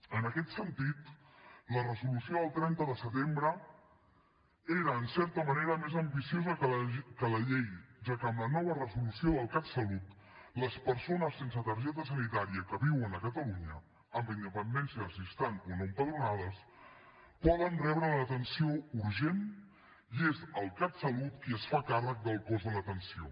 en aquest sentit la resolució del trenta de setembre era en certa manera més ambiciosa que la llei ja que amb la nova resolució del catsalut les persones sense targeta sanitària que viuen a catalunya amb independència de si estan o no empadronades poden rebre l’atenció urgent i és el catsalut qui es fa càrrec del cost de l’atenció